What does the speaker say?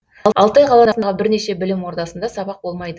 алтай қаласындағы бірнеше білім ордасында сабақ болмайды